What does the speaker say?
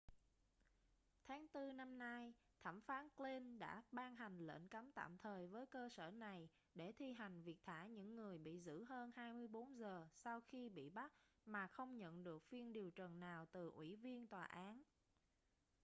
tháng tư năm nay thẩm phán glynn đã ban hành lệnh cấm tạm thời với cơ sở này để thi hành việc thả những người bị giữ hơn 24 giờ sau khi bị bắt mà không nhận được phiên điều trần nào từ ủy viên tòa án